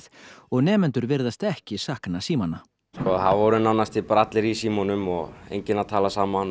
og nemendur virðast ekki sakna símanna það voru nánast bara allir í símunum og enginn að tala saman